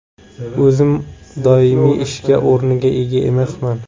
O‘zim doimiy ish o‘rniga ega emasman.